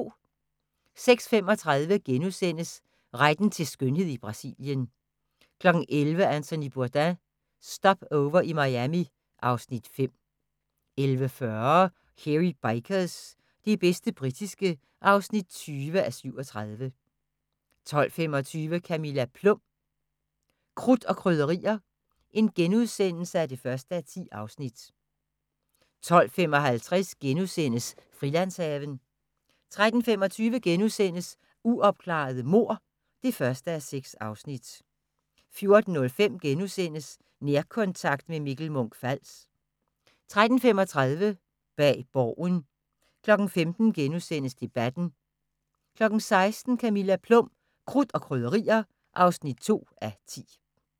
06:35: Retten til skønhed i Brasilien * 11:00: Anthony Bourdain – Stopover i Miami (Afs. 5) 11:40: Hairy Bikers – det bedste britiske (20:37) 12:25: Camilla Plum – Krudt og krydderier (1:10)* 12:55: Frilandshaven * 13:25: Uopklarede mord (1:6)* 14:05: Nærkontakt – med Mikkel Munch-Fals * 14:35: Bag Borgen 15:00: Debatten * 16:00: Camilla Plum – Krudt og krydderier (2:10)